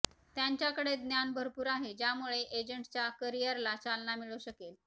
त्यांच्याकडे ज्ञान भरपूर आहे ज्यामुळे एजंटच्या करियरला चालना मिळू शकेल